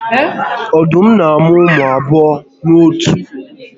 Ọdụm n'amụ ụmụ abụọ n'otu mmụ